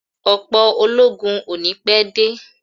Ọ̀pọ̀ ológun ò ní pé dé